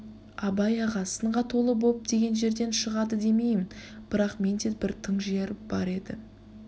абай аға сынға толы боп деген жерден шығады демейім бірақ менде бір тың жыр бар еді